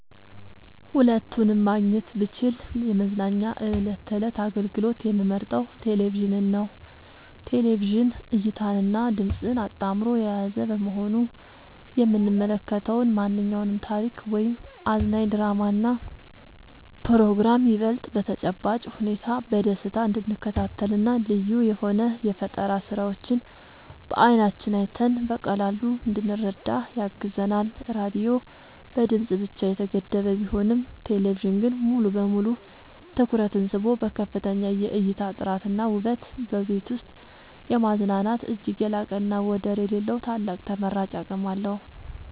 ሁለቱንም ማግኘት ብችል ለመዝናኛ የዕለት ተዕለት አገልግሎት የምመርጠው ቴሌቪዥንን ነው። ቴሌቪዥን እይታንና ድምጽን አጣምሮ የያዘ በመሆኑ የምንመለከተውን ማንኛውንም ታሪክ ወይም አዝናኝ ድራማና ፕሮግራም ይበልጥ በተጨባጭ ሁኔታ በደስታ እንድንከታተልና ልዩ የሆኑ የፈጠራ ስራዎችን በዓይናችን አይተን በቀላሉ እንድንረዳ ያግዘናል። ራዲዮ በድምጽ ብቻ የተገደበ ቢሆንም ቴሌቪዥን ግን ሙሉ በሙሉ ትኩረትን ስቦ በከፍተኛ የእይታ ጥራትና ውበት በቤት ውስጥ የማዝናናት እጅግ የላቀና ወደር የሌለው ታላቅ ተመራጭ አቅም አለው።